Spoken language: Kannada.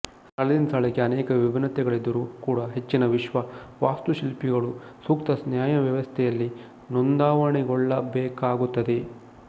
ಸ್ಥಳದಿಂದ ಸ್ಥಳಕ್ಕೆ ಅನೇಕ ವಿಭಿನ್ನತೆಗಳಿದ್ದರೂ ಕೂಡ ಹೆಚ್ಚಿನ ವಿಶ್ವ ವಾಸ್ತುಶಿಲ್ಪಿಗಳು ಸೂಕ್ತ ನ್ಯಾಯವ್ಯಾಪ್ತಿಯಲ್ಲಿ ನೋಂದಾವಣೆಗೊಳ್ಳಬೇಕಾಗುತ್ತದೆ